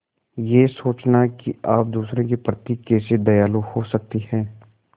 यह सोचना कि आप दूसरों के प्रति कैसे दयालु हो सकते हैं